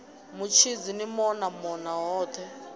mutshidzi ni mona mona hothe